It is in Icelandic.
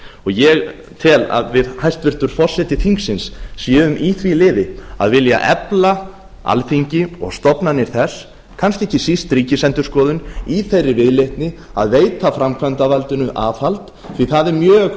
ég tel að við hæstvirtur forseti þingsins séum í því liði að vilja efla alþingi og stofnanir þess kannski ekki síst ríkisendurskoðun í þeirri viðleitni að veita framkvæmdarvaldinu aðhald því að það er mjög